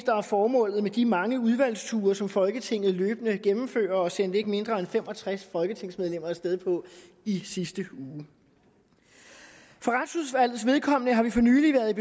formålet med de mange udvalgsture som folketinget løbende gennemfører og sendte ikke mindre end fem og tres folketingsmedlemmer af sted på i sidste uge for retsudvalgets vedkommende har vi for nylig været